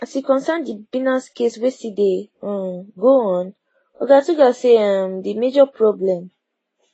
as e concern di binance case wey still dey um go on oga tuggar say um di major problem